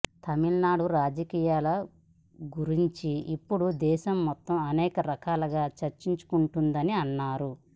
తమిళనాడు రాజకీయాల గురించి ఇప్పుడు దేశం మొత్తం అనేకరకాలుగా చర్చించుకుంటుందని అన్నారు